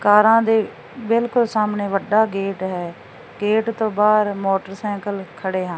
ਕਾਰਾਂ ਦੇ ਬਿਲਕੁਲ ਸਾਹਮਣੇ ਵੱਡਾ ਗੇਟ ਹੈ ਗੇਟ ਤੋਂ ਬਾਹਰ ਮੋਟਰਸਾਈਕਲ ਖੜੇ ਹਨ।